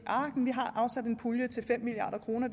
milliard kroner